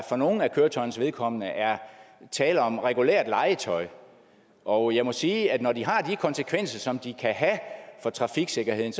for nogle af køretøjernes vedkommende er tale om regulært legetøj og jeg må sige at når de har de konsekvenser som de kan have for trafiksikkerheden